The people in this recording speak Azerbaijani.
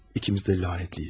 İkimiz də lənətliyiz.